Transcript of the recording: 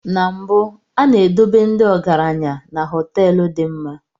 Na mbụ, A na-edobe ndị ọgaranya na họteelu dị mma.